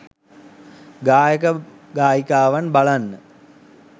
ගායක ගායිකාවන් බලන්න